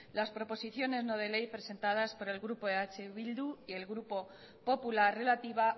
las proposiciones no de ley presentadas por el grupo eh bildu y el grupo popular relativa